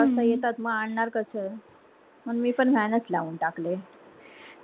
बारा वाजता येतात मा आणणार कास म्हणून मी पण van च लावून टाकले